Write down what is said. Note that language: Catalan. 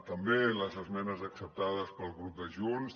també les esmenes acceptades pel grup de junts